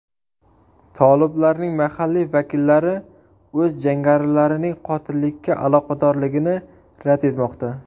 Toliblarning mahalliy vakillari o‘z jangarilarining qotillikka aloqadorligini rad etmoqda.